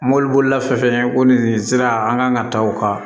Mɔbili bolila fɛ fɛn ko nin sira an kan ka ta o kan